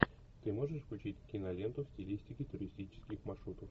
ты можешь включить киноленту в стилистике туристических маршрутов